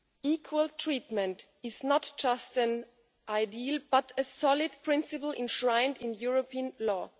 Equal treatment is not just an ideal but a solid principle enshrined in European law.